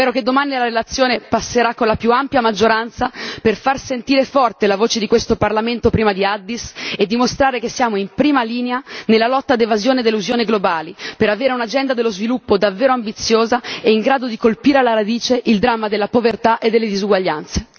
Spero che domani la relazione passerà con la più ampia maggioranza per fa sentire forte la voce di questo Parlamento prima di Addis Abeba e dimostrare che siamo in prima linea nella lotta all'evasione ed all'elusione globali, per avere un'agenda dello sviluppo davvero ambiziosa e in grado di colpire alla radice il dramma della povertà e delle disuguaglianze.